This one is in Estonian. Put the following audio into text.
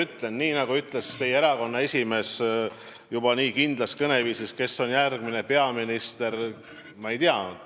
Ütlen veel kord, et ma ei tea, kes on järgmine peaminister, kuigi ka teie erakonna esimees rääkis sellest juba kindlas kõneviisis.